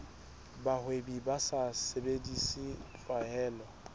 bahwebi ba sa sebedise tlwaelo